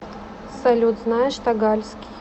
салют знаешь тагальский